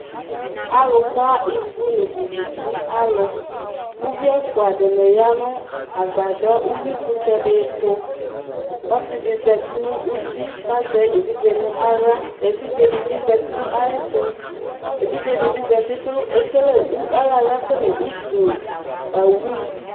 Alʋka ivʋ nʋ viviti alʋ, ʋvi ɛfʋa dini agbadɔ ʋwɩkʋtɛdi tʋ Ɔsidi zati nʋ uti kʋ azɛ evidze nʋ aɣla, evidzedi bi zati nʋ ayʋ ɛtʋ, evidze dibi kʋ ayɔ aɣla kele utu awʋ